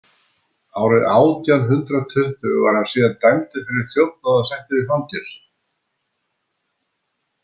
Árið átján hundrað tuttugu var hann síðan dæmdur fyrir þjófnað og settur í fangelsi.